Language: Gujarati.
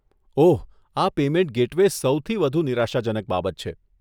ઓહ, આ પેમેન્ટ ગેટવે સૌથી વધુ નિરાશાજનક બાબત છે.